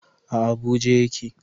A Abuja ya ke